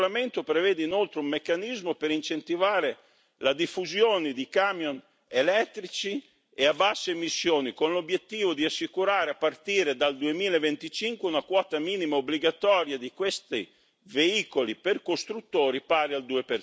Il regolamento prevede inoltre un meccanismo per incentivare la diffusione di camion elettrici e a basse emissioni, con l'obiettivo di assicurare, a partire dal 2025, una quota minima obbligatoria di questi veicoli per costruttori pari al